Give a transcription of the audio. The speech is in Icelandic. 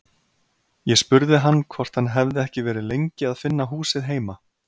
Ég spurði hann hvort hann hefði ekki verið lengi að finna húsið heima.